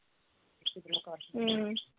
ਹਮ